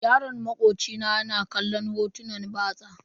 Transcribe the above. Yaron makoci na ya na kallon hotunan batsa.